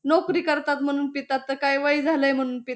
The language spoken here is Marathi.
नोकरी करतात म्हणून पितात तर काही वय झालं म्हणून पिता--